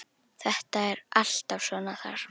Þetta er alltaf svona þar.